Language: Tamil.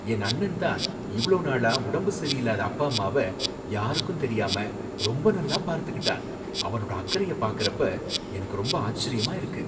என் அண்ணன்தான் இவ்வளோ நாளா உடம்பு சரியில்லாத அப்பா அம்மாவ யாருக்கும் தெரியாம ரொம்ப நல்லா பார்த்துக்கிட்டான். அவனோட அக்கறையை பாக்கறப்ப எனக்கு ரொம்ப ஆச்சரியமா இருக்கு.